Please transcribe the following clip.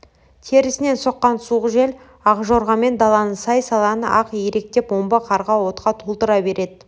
терісінен соққан суық жел ақжорғамен даланы сай-саланы ақ иректеп омбы қарға опқа толтыра береді